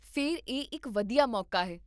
ਫਿਰ ਇਹ ਇੱਕ ਵਧੀਆ ਮੌਕਾ ਹੈ